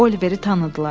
Oliveri tanıdılar.